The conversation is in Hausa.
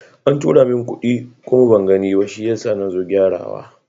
An tura min kuɗi kuma ban gani ba, shi yasa nazo gyara wa.